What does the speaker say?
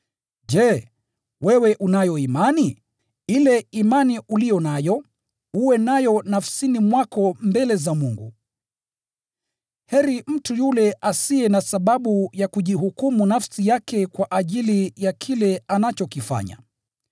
Je, wewe unayo imani? Ile imani uliyo nayo, uwe nayo nafsini mwako mbele za Mungu. Heri mtu yule asiye na sababu ya kujihukumu nafsi yake kwa ajili ya kile anachokifanya.